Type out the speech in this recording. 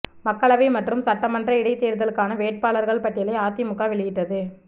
மக்களவை மற்றும் சட்டமன்ற இடைத் தேர்தலுக்கான வேட்பாளர்கள் பட்டியலை அதிமுக வெளியிட்டது